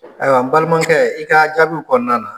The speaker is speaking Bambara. Ayiwa n balimakɛ i kaa jaabi kɔnɔna na